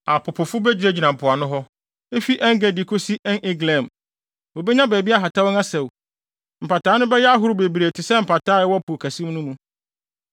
Apopofo begyinagyina mpoano hɔ; efi En-Gedi kosi En-Eglaim, wobenya baabi ahata wɔn asau. Mpataa no bɛyɛ ahorow bebree te sɛ mpataa a ɛwɔ Po kɛse no mu.